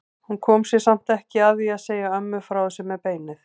Hún kom sér samt ekki að því að segja ömmu frá þessu með beinið.